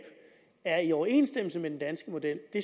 er i overensstemmelse med den danske model